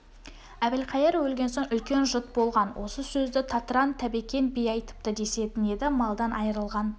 әбілқайыр өлген соң үлкен жұт болған осы сөзді татыран тәбекен би айтыпты десетін еді малдан айрылған